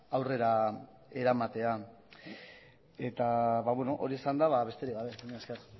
aurrera eramatea hori esanda besterik gabe mila esker